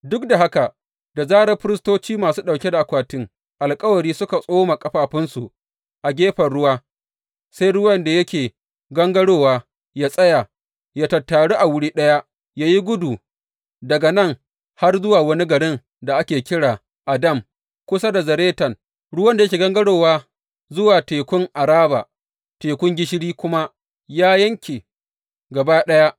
Duk da haka da zarar firistoci masu ɗauke da akwatin alkawari suka tsoma ƙafafunsu a gefen ruwa, sai ruwan da yake gangarowa ya tsaya, ya tattaru a wuri ɗaya ya yi tudu daga nan har zuwa wani garin da ake kira Adam kusa da Zaretan, ruwan da yake gangarowa zuwa Tekun Araba Tekun Gishiri kuma ya yanke gaba ɗaya.